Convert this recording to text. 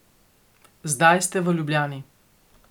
Zdaj ste v Ljubljani.